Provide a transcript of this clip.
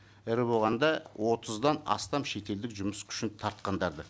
ірі болғанда отыздан астам шетелдік жұмыс күшін тартқандарды